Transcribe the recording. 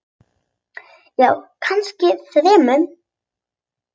Já, kannski þremur.